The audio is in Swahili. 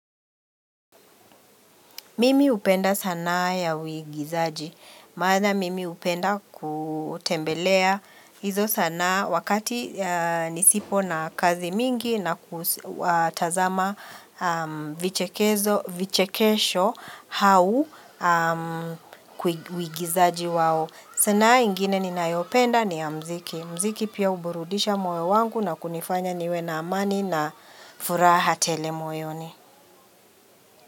Mimi hupenda sanaa ya uigizaji. Maana mimi hupenda kutembelea izo sana wakati nisipo na kazi mingi na kutazama vichekezo, vichekesho hau kwi uigizaji wao. Sanaa ingine ninayopenda ni ya mziki. Mziki pia huburudisha moyo wangu na kunifanya niwe na amani na furaha tele moyoni.